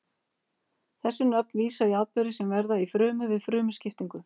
þessi nöfn vísa í atburði sem verða í frumu við frumuskiptingu